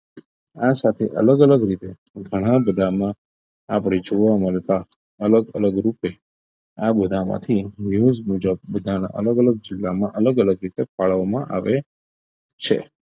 આ સાથે અલગ અલગ રીતે ઘણા બધામાં આપણે જોવા મળતા અલગ અલગ રૂપે આ બધામાંથી news મુજબ બધાના અલગ અલગ જિલ્લામાં અલગ અલગ રીતે ફાળવવામાં આવે છે